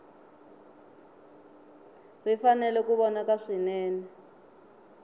ri fanele ku vonaka swinene